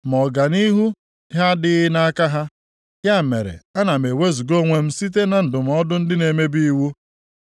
Ma ọganihu ha adịghị nʼaka ha ya mere ana m ewezuga onwe m site na ndụmọdụ ndị na-emebi iwu.